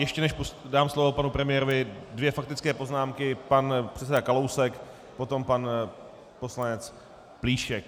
Ještě než dám slovo panu premiérovi, dvě faktické poznámky, pan předseda Kalousek, potom pan poslanec Plíšek.